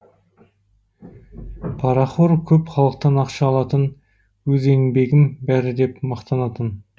парахор көп халықтан ақша алатын өз еңбегім бәрі деп мақтанатын